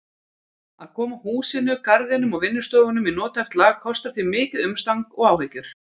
Að koma húsinu, garðinum og vinnustofunum í nothæft lag kostar því mikið umstang og áhyggjur.